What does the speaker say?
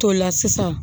To la sisan